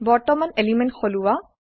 বৰ্তমান এলিমেন্ট সলোৱা